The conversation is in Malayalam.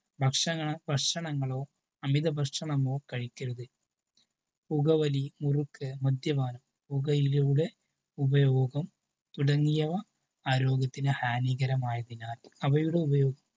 ഭക്ഷണ ഭക്ഷണങ്ങളോ അമിത ഭക്ഷണമോ കഴിക്കരുത്. പുകവലി മുറുക്ക് മദ്യപാനം പുകയിലയുടെ ഉപയോഗം തുടങ്ങിയവ ആരോഗ്യത്തിന് ഹാനികരമായതിനാൽ അവയുടെ ഉപയോഗം